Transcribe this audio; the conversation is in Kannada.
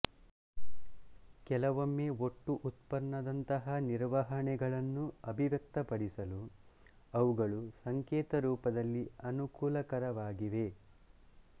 ಕೆಲವೊಮ್ಮೆ ಒಟ್ಟು ಉತ್ಪನ್ನದಂತಹ ನಿರ್ವಹಣೆಗಳನ್ನು ಅಭಿವ್ಯಕ್ತಪಡಿಸಲು ಅವುಗಳು ಸಂಕೇತರೂಪದಲ್ಲಿ ಅನುಕೂಲಕರವಾಗಿವೆ